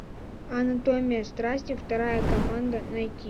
анатомия страсти вторая команда найти